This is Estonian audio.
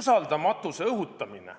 Usaldamatuse õhutamine